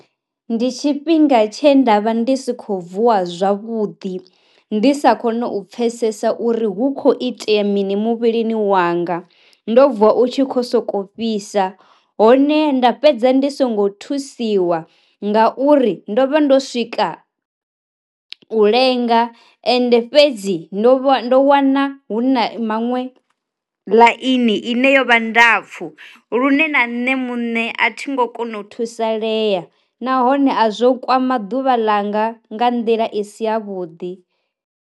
Ndi tshifhinga tshe ndavha ndi sikho vuwa zwavhuḓi ndi sa koni u pfesesa uri hu kho itea mini muvhilini wanga ndo vuwa u tshi kho soko fhisa, hone nda fhedza ndi songo thusiwa nga uri ndo vha ndo swika u lenga ende fhedzi ndo vha ndo wana hu na maṅwe ḽaini ine yo vha ndapfu lune na nṋe muṋe a thi ngo kona u thusalea, nahone a zwo kwama ḓuvha langa nga nḓila i si ya vhuḓi.